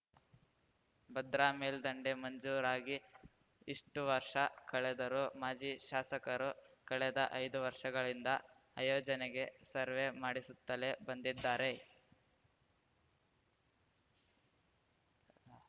ಭದ್ರಾ ಮೇಲ್ದಂಡೆ ಮಂಜೂರಾಗಿ ಇಷ್ಟುವರ್ಷ ಕಳೆದರೂ ಮಾಜಿ ಶಾಸಕರು ಕಳೆದ ಐದು ವರ್ಷಗಳಿಂದ ಆಯೋಜನೆಗೆ ಸರ್ವೆ ಮಾಡಿಸುತ್ತಲೇ ಬಂದಿದ್ದಾರೆ